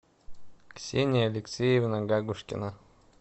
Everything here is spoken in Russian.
ксения алексеевна гагушкина